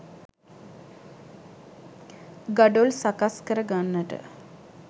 ගඩොල් සකස් කරගන්නට